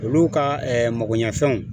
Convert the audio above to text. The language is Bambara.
Olu ka magoɲɛfɛnw